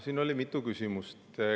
Siin oli mitu küsimust.